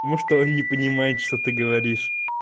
потому что он не понимает что ты говоришь